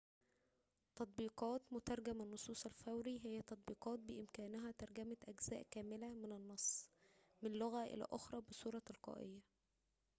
تطبيقات مترجم النصوص الفوري هي تطبيقات بإمكانها ترجمة أجزاء كاملة من النص من لغة إلى أخرى بصورة تلقائية